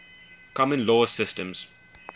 common law systems